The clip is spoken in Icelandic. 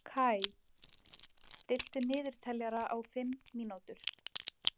Kai, stilltu niðurteljara á fimm mínútur.